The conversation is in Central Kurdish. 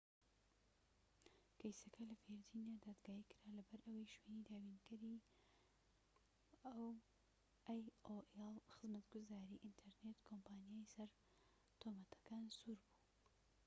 کەیسەکە لە ڤیرجینیا دادگایی کرا لەبەرئەوەی شوێنی دابینکەری خزمەتگوزاری ئینتەرنێت aolە، ئەو کۆمپانیایەی لە سەر تۆمەتەکان سوور بوو